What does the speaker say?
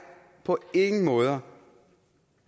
på ingen måder